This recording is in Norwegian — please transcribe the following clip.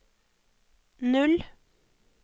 null